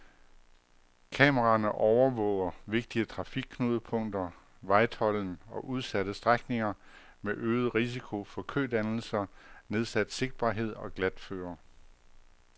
Kameraerne overvåger vigtige trafikknudepunkter, vejtolden og udsatte strækninger med øget risiko for kødannelser, nedsat sigtbarhed og glatføre.